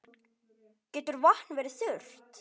Getur vatn verið þurrt?